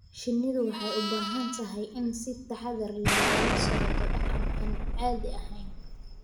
Shinnidu waxay u baahan tahay in si taxadar leh loola socdo dhaqan aan caadi ahayn.